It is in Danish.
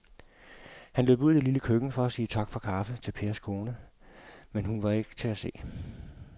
Han løb ud i det lille køkken for at sige tak for kaffe til Pers kone, men hun var ikke til at se.